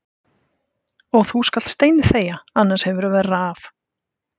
Og þú skalt steinþegja, annars hefurðu verra af.